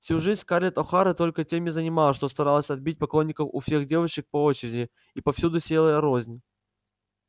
всю жизнь скарлетт охара только тем и занималась что старалась отбить поклонников у всех девочек по очереди и повсюду сеяла рознь